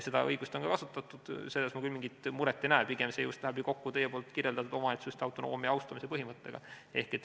Seda õigust on ka kasutatud ja selles ma küll mingit muret ei näe, pigem see just läheb ju kokku teie kirjeldatud omavalitsuste autonoomia austamise põhimõttega.